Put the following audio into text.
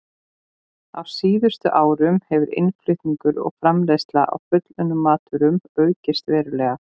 Á síðustu árum hefur innflutningur og framleiðsla á fullunnum matvörum aukist verulega.